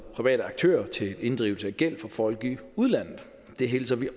private aktører til inddrivelse af gæld fra folk i udlandet det hilser vi